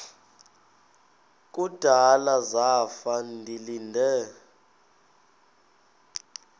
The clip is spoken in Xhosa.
kudala zafa ndilinde